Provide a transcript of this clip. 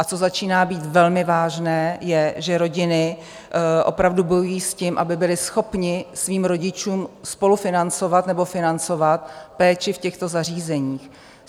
A co začíná být velmi vážné, je, že rodiny opravdu bojují s tím, aby byly schopny svým rodičům spolufinancovat nebo financovat péči v těchto zařízeních.